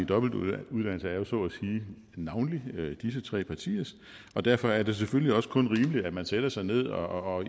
dobbeltuddannelse er jo navnlig disse tre partiers og derfor er det selvfølgelig også kun rimeligt at man sætter sig ned og